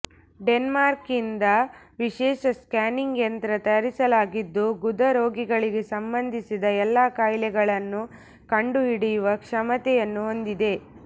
ಡೆನ್ಮಾರ್ಕ್ನಿಂದ ವಿಶೇಷ ಸ್ಕ್ಯಾನಿಂಗ್ ಯಂತ್ರ ತರಿಸಲಾಗಿದ್ದು ಗುದ ರೋಗಗಳಿಗೆ ಸಂಬಂಧಿಸಿದ ಎಲ್ಲಾ ಕಾಯಿಲೆಗಳನ್ನು ಕಂಡು ಹಿಡಿಯುವ ಕ್ಷಮತೆಯನ್ನು ಹೊಂದಿದೆ